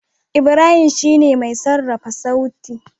Ibrahim shine mai sarrafa sauti.